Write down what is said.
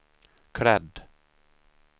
klädd